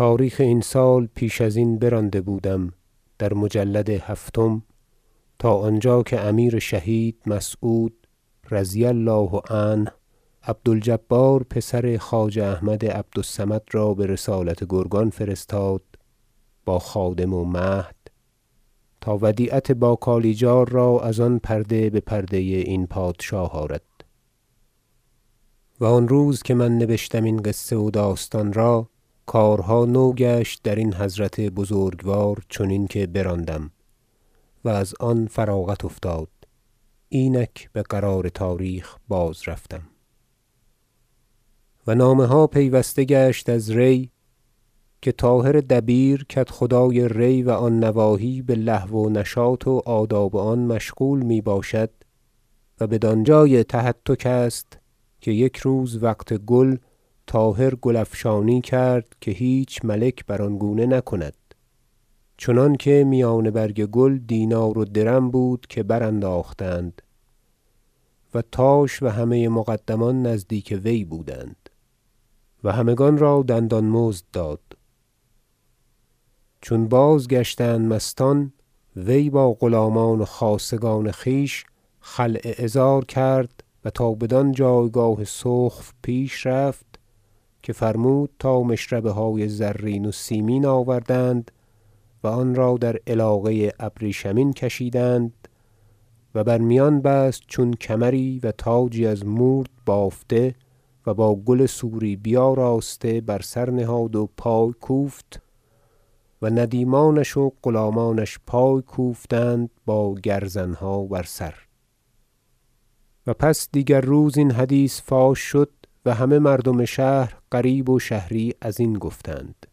بقیت سال اربع و عشرین و اربعمایه تاریخ این سال پیش ازین برانده بودم در مجلد هفتم تا آنجا که امیر شهید مسعود رضی الله عنه عبد الجبار پسر خواجه احمد عبد الصمد را برسالت گرگان فرستاد با خادم و مهد تا ودیعت با کالیجار را از آن پرده بپرده این پادشاه آرد و آن روز که من نبشتم این قصه و داستان را کارها نو گشت درین حضرت بزرگوار چنین که براندم و از آن فراغت افتاد اینک بقرار تاریخ باز رفتم و نامه ها پیوسته گشت از ری که طاهر دبیر کدخدای ری و آن نواحی بلهو و نشاط و آداب آن مشغول می باشد و بدانجای تهتک است که یک روز وقت گل طاهر گل افشانی کرد که هیچ ملک بر آن گونه نکند چنانکه میان برگ گل دینار و درم بود که برانداختند و تاش و همه مقدمان نزدیک وی بودند و همگان را دندان مزد داد چون بازگشتند مستان وی با غلامان و خاصگان خویش خلع عذار کرد و تا بدان جایگاه سخف رفت که فرمود تا مشربه های زرین و سیمین آوردند و آنرا در علاقه ابریشمین کشیدند و بر میان بست چون کمری و تاجی از مورد بافته و با گل سوری بیاراسته بر سر نهاد و پای کوفت و ندیمان و غلامانش پای کوفتند با گرزنها بر سر و پس دیگر روز این حدیث فاش شد و همه مردم شهر غریب و شهری ازین گفتند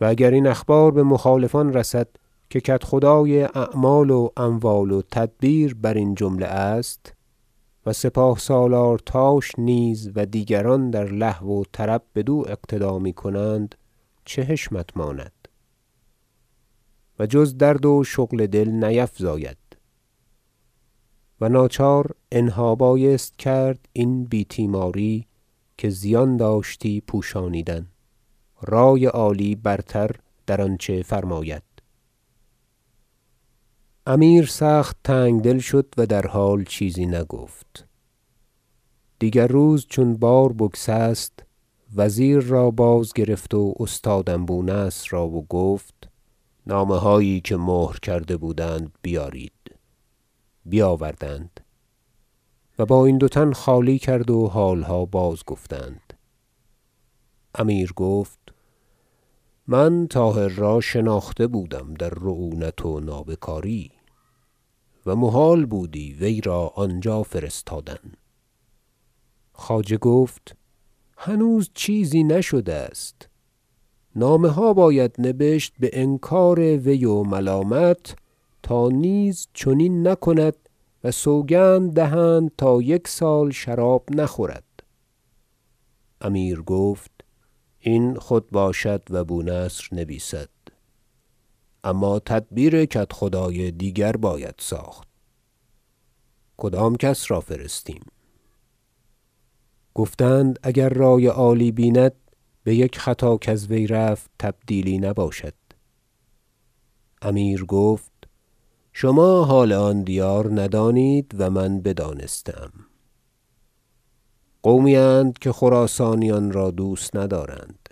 و اگر این اخبار بمخالفان رسد که کدخدای اعمال و اموال و تدبیر برین جمله است و سپاه سالار تاش نیز و دیگران در لهو و طرب بدو اقتدا میکنند چه حشمت ماند و جز درد و شغل دل نیفزاید و ناچار انها بایست کرد این بی- تیماری که زیان داشتی پوشانیدن رای عالی برتر در آنچه فرماید انتخاب بو سهل حمدوی بکدخدایی ری امیر سخت تنگدل شد و در حال چیزی نگفت دیگر روز چون بار بگسست وزیر را بازگرفت و استادم بونصر را و گفت که نامه هایی که مهر کرده بودند بیارید بیاوردند و با این دو تن خالی کردند و حالها بازگفتند امیر گفت من طاهر را شناخته بودم در رعونت و نابکاری و محال بودی وی را آنجا فرستادن خواجه گفت هنوز چیزی نشده است نامه ها باید نبشت بانکار وی و ملامت تا نیز چنین نکند و سوگند دهند تا یک سال شراب نخورد امیر گفت این خود باشد و بونصر نبیسد اما تدبیر کدخدای دیگر باید ساخت کدام کس را فرستیم گفتند اگر رای عالی بیند بیک خطا کز وی رفت تبدیلی نباشد امیر گفت شما حال آن دیار ندانید و من بدانسته ام قومی اند که خراسانیان را دوست ندارند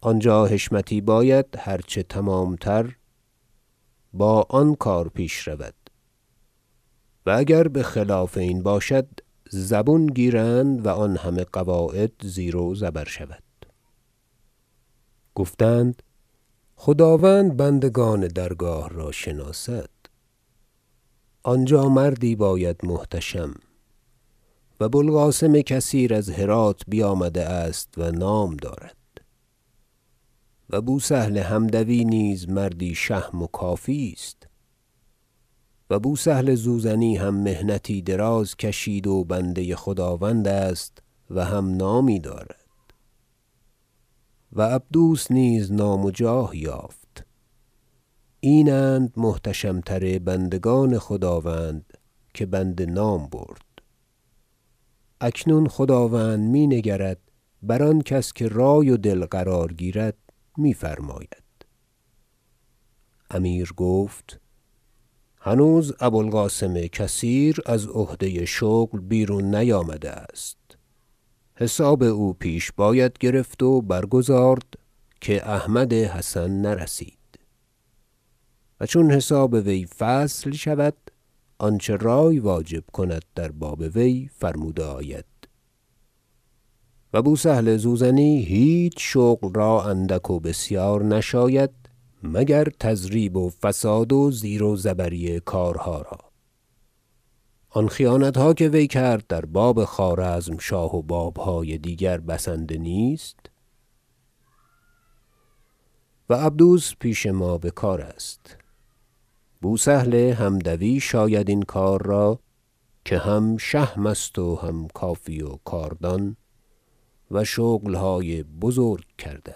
آنجا حشمتی باید هر چه تمامتر با آن کار پیش رود و اگر بخلاف این باشد زبون گیرند و آن همه قواعد زیر و زبر شود گفتند خداوند بندگان درگاه را شناسد آنجا مردی باید محتشم و بو القاسم کثیر از هرات بیامده است و نام دارد و بوسهل حمدوی نیز مردی شهم و کافی است و بوسهل زوزنی هم محنتی دراز کشید و بنده خداوند است و هم نامی دارد و عبدوس نیز نام و جاه یافت این اند محتشم تر بندگان خداوند که بنده نام برد اکنون خداوند می نگرد بر آن کس که رای و دل قرار گیرد میفرماید امیر گفت هنوز بو القاسم کثیر از عهده شغل بیرون نیامده است حساب او پیش باید گرفت و برگزارد که احمد حسن نرسید و چون حساب وی فصل شود آنچه رای واجب کند در باب وی فرموده آید و بوسهل زوزنی هیچ شغل را اندک و بسیار نشاید مگر تضریب و فساد و زیر و زبری کارها را آن خیانتها که وی کرد در باب خوارزمشاه و بابهای دیگر بسنده نیست و عبدوس پیش ما بکار است بوسهل حمدوی شاید این کار را که هم شهم است و هم کافی و کاردان و شغلهای بزرگ کرده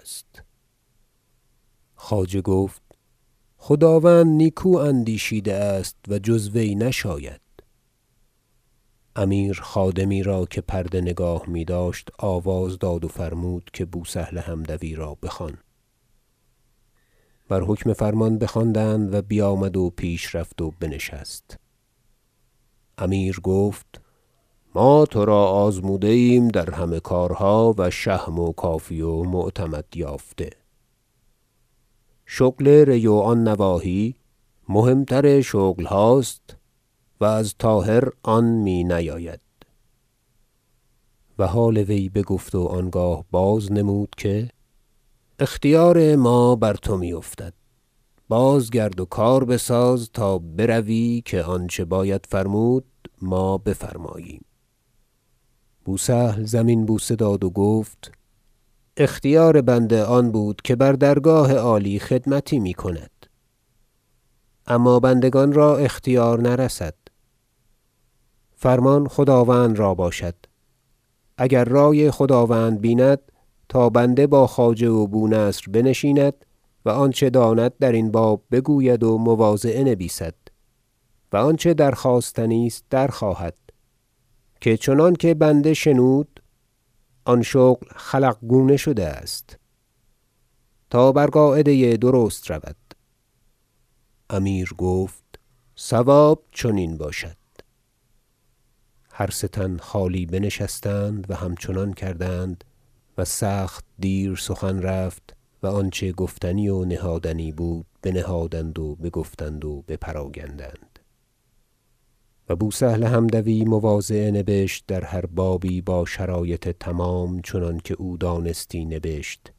است خواجه گفت خداوند نیکو اندیشیده است و جز وی نشاید امیر خادمی را که پرده نگاه میداشت آواز داد و فرمود که بوسهل حمدوی را بخوان بر حکم فرمان بخواندند و بیامد و پیش رفت و بنشست امیر گفت ما ترا آزموده ایم در همه کارها و شهم و کافی و معتمد یافته شغل ری و آن نواحی مهم تر شغلها ست و از طاهر آن می نیاید و حال وی بگفت و آنگاه باز نمود که اختیار ما بر تو می افتد بازگرد و کار بساز تا بروی که آنچه باید فرمود ما بفرماییم بوسهل زمین بوسه داد و گفت اختیار بنده آن بود که بر درگاه عالی خدمتی میکند اما بندگان را اختیار نرسد فرمان خداوند را باشد اگر رای خداوند بیند تا بنده با خواجه و بونصر بنشیند و آنچه داند درین باب بگوید و مواضعه نبیسد و آنچه درخواستنی است در خواهد که چنانکه بنده شنود آن شغل خلق گونه شده است تا بر قاعده درست رود امیر گفت صواب چنین باشد هر سه تن خالی بنشستند و همچنان کردند و سخت دیر سخن رفت و آنچه گفتنی و نهادنی بود بنهادند و بگفتند و بپراگندند و بوسهل حمدوی مواضعه نبشت در هر بابی با شرایط تمام چنانکه او دانستی نبشت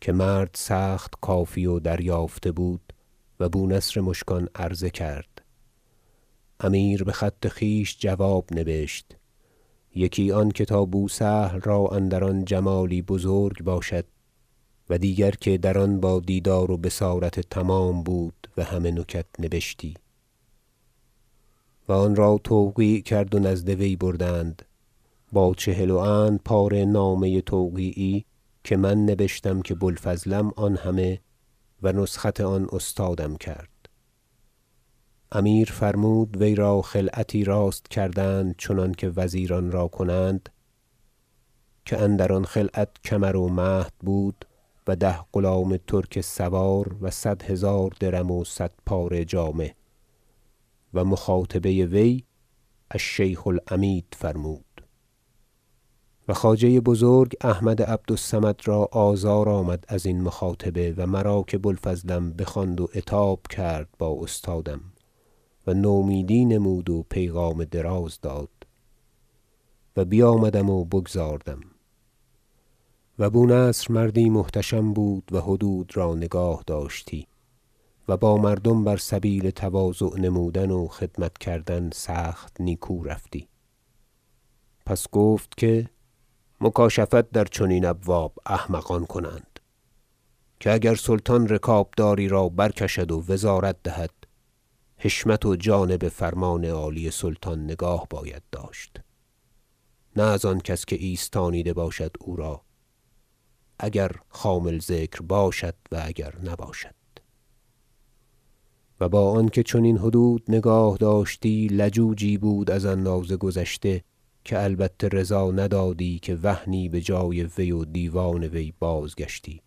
که مرد سخت کافی و دریافته بود و بونصر مشکان عرضه کرد امیر بخط خویش جواب نبشت یکی آنکه تا بوسهل را اندر آن جمالی بزرگ باشد و دیگر که در آن با دیدار و بصارت تمام بود و همه نکت نبشتی و آن را توقیع کرد و نزد وی بردند با چهل و اند پاره نامه توقیعی که من نبشتم که بوالفضلم آن همه و نسخت آن استادم کرد امیر فرمود وی را خلعتی راست کردند چنانکه وزیران را کنند که اندر آن خلعت کمر و مهد بود و ده غلام ترک سوار و صد هزار درم و صد پاره جامه و مخاطبه وی الشیخ العمید فرمود و خواجه بزرگ احمد عبد الصمد را آزار آمد ازین مخاطبه و مرا که بو الفضلم بخواند و عتاب کرد با استادم و نومیدی نمود و پیغام دراز داد و بیامدم و بگزاردم و بونصر مردی محتشم بود و حدود را نگاه داشتی و با مردم بر سبیل تواضع نمودن و خدمت کردن سخت نیکو رفتی پس گفت که مکاشفت در چنین ابواب احمقان کنند که اگر سلطان رکابداری را برکشد و وزارت دهد حشمت و جانب فرمان عالی سلطان نگاه باید داشت نه از آن کس که ایستانیده باشد او را اگر خامل ذکر باشد و اگر نباشد و با آنکه چنین حدود نگاه داشتی لجوجی بود از اندازه گذشته که البته رضا ندادی که وهنی بجای وی و دیوان وی بازگشتی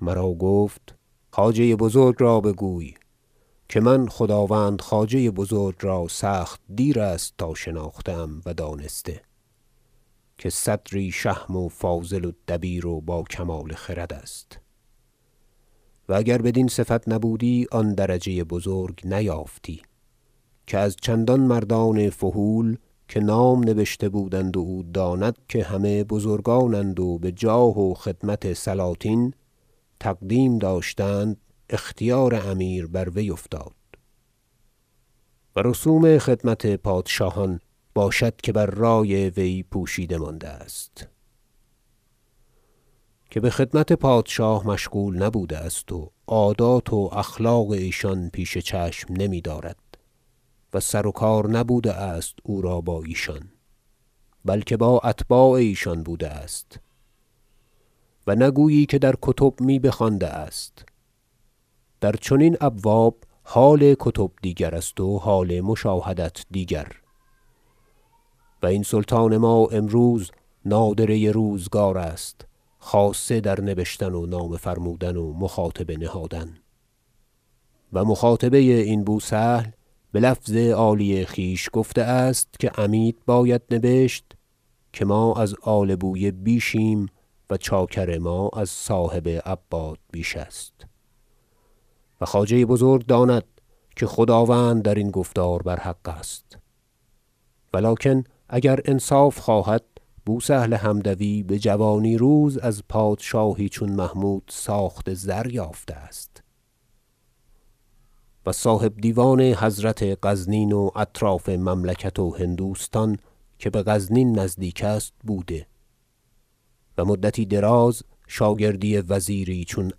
مرا گفت خواجه بزرگ را بگوی که من خداوند خواجه بزرگ را سخت دیر است تا شناخته ام و دانسته که صدری شهم و فاضل و دبیر و با کمال خرد است و اگر بدین صفت نبودی آن درجه بزرگ نیافتی که از چندان مردان فحول که نام نبشته بودند و او داند که همه بزرگانند و بجاه و خدمت سلاطین تقدیم داشتند اختیار امیر بر وی افتاد و رسوم خدمت پادشاهان باشد که بر رای وی پوشیده مانده است که بخدمت پادشاه مشغول نبوده است و عادات و اخلاق ایشان پیش چشم نمیدارد و سروکار نبوده است او را با ایشان بلکه با اتباع ایشان بوده است و نگویی که در کتب می بخوانده است در چنین ابواب حال کتب دیگرست و حال مشاهدت دیگر و این سلطان ما امروز نادره روزگار است خاصه در نبشتن و نامه فرمودن و مخاطبه نهادن و مخاطبه این بوسهل بلفظ عالی خویش گفته است که عمید باید نبشت که ما از آل بویه بیشیم و چاکر ما از صاحب عباد بیش است و خواجه بزرگ داند که خداوند درین گفتار بر حق است ولکن اگر انصاف خواهد داد بوسهل حمدوی بجوانی روز از پادشاهی چون محمود ساخت زریافته است و صاحب دیوان حضرت غزنین و اطراف مملکت هندوستان که بغزنین نزدیک است بوده و مدتی دراز شاگردی وزیری چون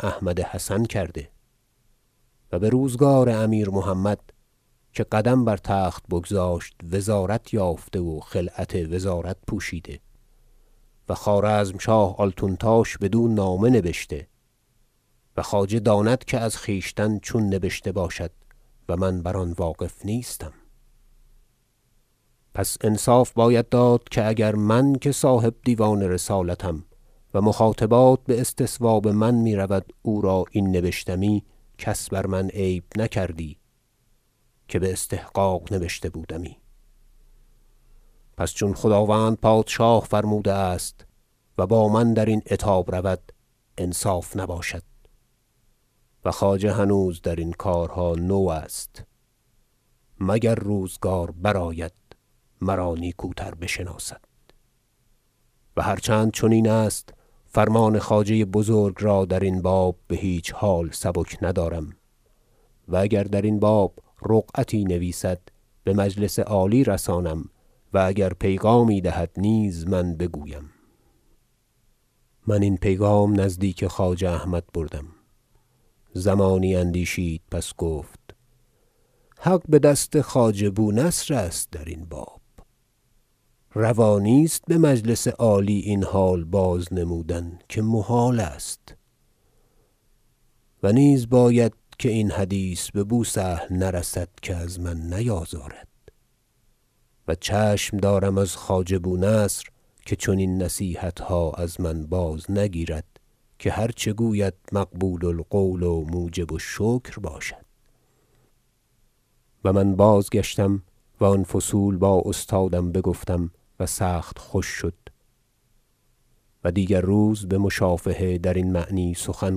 احمد حسن کرده و بروزگار امیر محمد که قدم بر تخت بگذاشت وزارت یافته و خلعت وزارت پوشیده و خوارزمشاه آلتونتاش بدو نامه نبشته و خواجه داند که از خویشتن چون نبشته باشد و من بر آن واقف نیستم پس انصاف باید داد اگر من که صاحب دیوان رسالتم و مخاطبات باستصواب من میرود او را این نبشتی کس بر من عیب نکردی که باستحقاق نبشته بودمی پس چون خداوند پادشاه فرموده است و با من درین عتاب رود انصاف نباشد و خواجه هنوز درین کارها نو است مگر روزگار برآید مرا نیکوتر بشناسد و هر چند چنین است فرمان خواجه بزرگ را درین باب بهیچ حال سبک ندارم و اگر درین باب رقعتی نویسد بمجلس عالی رسانم و اگر پیغامی دهد نیز من بگویم من این پیغام نزدیک خواجه احمد بردم زمانی اندیشید پس گفت حق بدست خواجه بونصر است درین باب روا نیست بمجلس عالی این حال باز نمودن که محال است و نیز باید که این حدیث ببوسهل نرسد که از من نیازارد و چشم دارم از خواجه بونصر که چنین نصیحتها از من باز نگیرد که هر چه گوید مقبول القول و موجب الشکر باشد و من بازگشتم و آن فصول با استادم بگفتم و سخت خوش شد و دیگر روز بشافهه درین معنی سخن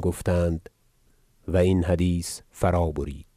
گفتند و این حدیث فرا برید